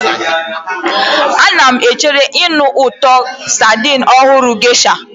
Ana m echere ịnụ ụtọ sardine ọhụrụ Geisha.